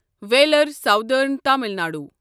wheeler southern Tamil Nadu